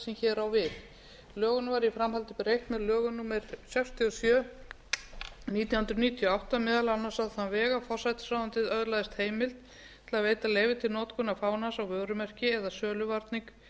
hér á við lögunum var í framhaldi breytt með lögum númer sextíu og sjö nítján hundruð níutíu og átta meðal annars á þann veg að forsætisráðuneytið öðlaðist heimild til að veita leyfi til notkunar fánans á vörumerki eða söluvarning